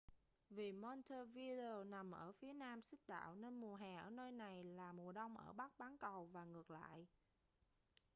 vì montevideo nằm ở phía nam xích đạo nên mùa hè ở nơi này là mùa đông ở bắc bán cầu và ngược lại